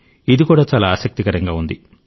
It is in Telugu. ఇది కూడా చాలా ఆసక్తికరంగా ఉంది